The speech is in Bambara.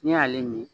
Ne y'ale min